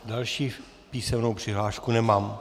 Další písemnou přihlášku nemám.